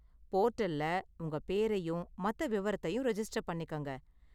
போர்ட்டல்ல உங்க பேரையும் மத்த விவரத்தையும் ரெஜிஸ்டர் பண்ணிக்கங்க.